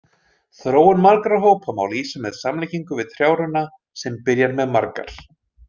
Þróun margra hópa má lýsa með samlíkingu við trjárunna sem byrjar með margar.